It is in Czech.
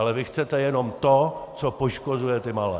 Ale vy chcete jenom to, co poškozuje ty malé.